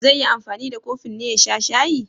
Zai yi anfani da kofin ne ya sha shayi?